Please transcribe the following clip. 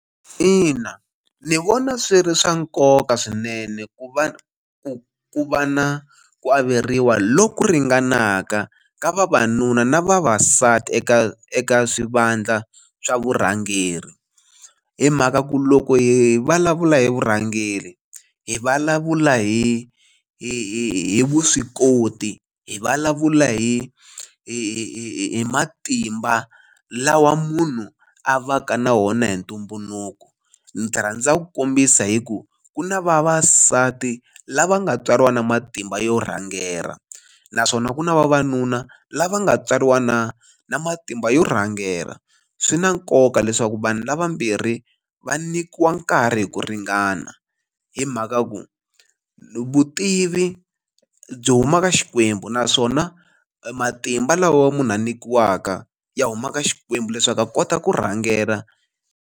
Ina ni vona swi ri swa nkoka swinene ku va ku ku va na ku averiwa loku ringanaka ka vavanuna na vavasati eka eka swivandla swa vurhangeri hi mhaka ku loko hi vulavula hi vurhangeri hi vulavula hi hi vuswikoti hi vulavula hi hi hi hi matimba lawa munhu a va ka na wona hi ntumbuluko ndzi rhandza ku kombisa hi ku ku na vavasati lava nga tswariwa na matimba yo rhangela naswona ku na vavanuna lava nga tswariwa na na matimba yo rhangela swi na nkoka leswaku vanhu lavambirhi va nyikiwa nkarhi hi ku ringana hi mhaka ku vutivi byi huma ka Xikwembu naswona matimba lawa munhu a nyikiwaka ya humaka Xikwembu leswaku a kota ku rhangela.